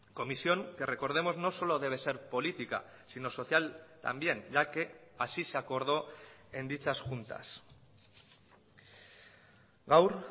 comisión que recordemos no solo debe ser política sino social también ya que así se acordó en dichas juntas gaur